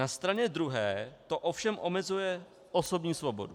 Na straně druhé to ovšem omezuje osobní svobodu.